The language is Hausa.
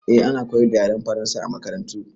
Eh, ana koyar da yaren Faransa a makarantu.